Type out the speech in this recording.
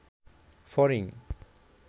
ফড়িং